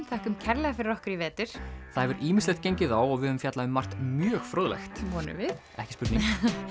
þökkum kærlega fyrir okkur í vetur það hefur ýmislegt gengið á og við höfum fjallað um margt mjög fróðlegt vonum við ekki spurning